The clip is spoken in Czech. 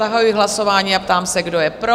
Zahajuji hlasování a ptám se, kdo je pro?